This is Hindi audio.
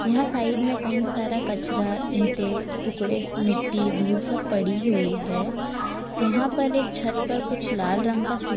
यहां साइड में कई सारा कचरा ईंटे टुकड़े मिट्टी धूल सब पड़ी हुई है यहां पर एक छत कुछ लाल रंग का सूख --